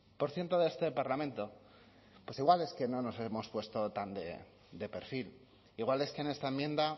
por ciento de este parlamento pues igual es que no nos hemos puesto tan de perfil igual es que en esta enmienda